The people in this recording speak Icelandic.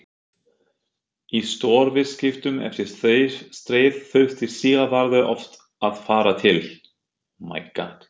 Í stórviðskiptum eftir stríð þurfti Sigvarður oft að fara til